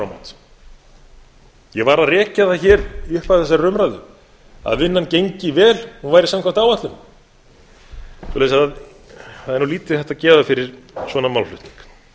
áramót ég var að rekja það hér í upphafi þessarar umræðu að vinnan gengi vel og hún væri samkvæmt áætlun svoleiðis að það er nú lítið hægt að gefa fyrir svona málflutning